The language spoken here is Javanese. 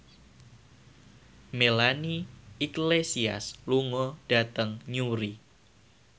Melanie Iglesias lunga dhateng Newry